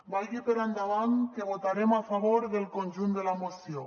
vagi per endavant que votarem a favor del conjunt de la moció